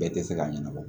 Bɛɛ tɛ se k'a ɲɛnabɔ